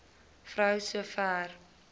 vrou so ver